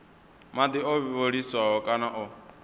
madi o vhiliswaho kana o